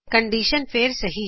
condition ਫੇਰ ਸਹੀ ਹੈ